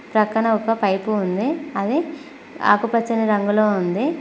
ప్రక్కన ఒక పైపు ఉంది అది ఆకు పచ్చని రంగులో ఉంది.